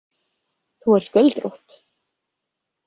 Þú ert göldrótt.